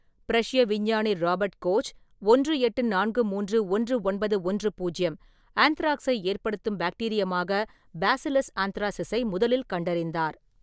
பிரஷ்ய விஞ்ஞானி Robert Koch ஒன்று எட்டு நான்கு மூன்று ஒன்று ஒன்பது ஒன்று பூஜ்யம் ஆந்த்ராக்ஸை ஏற்படுத்தும் பாக்டீரியமாக பேசிலஸ் ஆந்த்ராசிஸை முதலில் கண்டறிந்தார்.